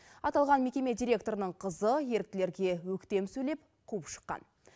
аталған мекеме директорының қызы еріктілерге өктем сөйлеп қуып шыққан